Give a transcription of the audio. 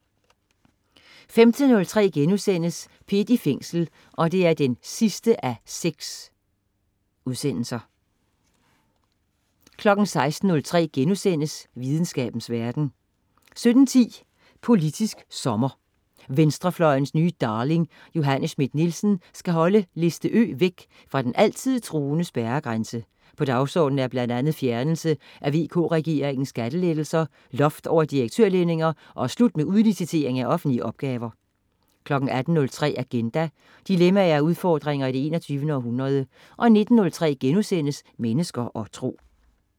15.03 P1 i Fængsel 6:6* 16.03 Videnskabens verden* 17.10 Politisk sommer: Venstrefløjens nye darling. Johanne Schmidt-Nielsen skal holde liste Ø væk fra den altid truende spærregrænse. På dagsordenen er bl.a. fjernelse af VK-regeringens skattelettelser, loft over direktørlønninger og slut med udlicitering af offentlige opgaver 18.03 Agenda. Dilemmaer og udfordringer i det 21. århundrede 19.03 Mennesker og Tro*